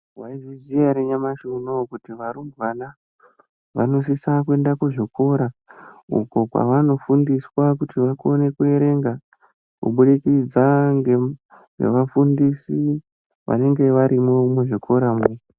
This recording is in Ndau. Munozviziya ere nyamashi unowu kuti varumbwana vanosisa kuenda kuzvikora uko kwavanofundiswa kuti vakone kuerenga kuburikidza ngevafundisi vanenga varimwo muzvikoramwo